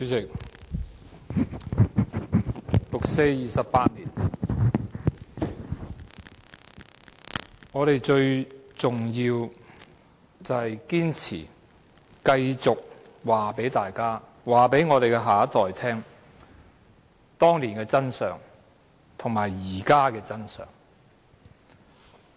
主席，六四28周年，我們最重要是堅持繼續告訴大家、告訴我們的下一代，當年的真相和現在的真相。